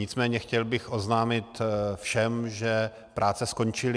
Nicméně chtěl bych oznámit všem, že práce skončily.